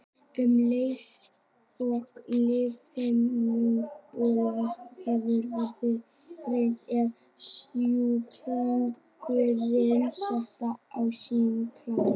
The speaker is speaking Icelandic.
Um leið og lífhimnubólga hefur verið greind er sjúklingurinn settur á sýklalyf.